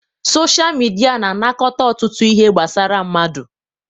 Sochaa midia na anakọta ọtụtụ ihe gbasara mmadụ.